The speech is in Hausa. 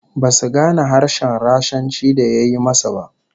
Basu gane harshen Rashanci da ya yi ma su ba